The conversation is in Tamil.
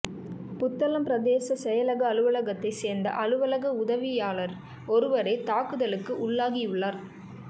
புத்தளம் பிரதேச செயலக அலுவலகத்தைச் சேர்ந்த அலுவலக உதவியாளர் ஒருவரே தாக்குதலுக்கு உள்ளாகியுள்ளார்